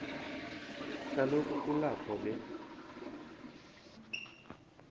kaloku kulapho be